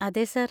അതെ, സർ.